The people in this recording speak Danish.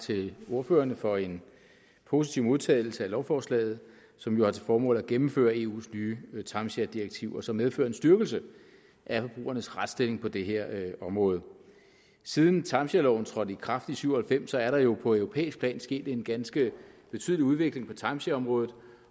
til ordførerne for en positiv modtagelse af lovforslaget som jo har til formål at gennemføre eus nye timesharedirektiv og som medfører en styrkelse af forbrugernes retsstilling på det her område siden timeshareloven trådte i kraft i nitten syv og halvfems er der jo på europæisk plan sket en ganske betydelig udvikling på timeshareområdet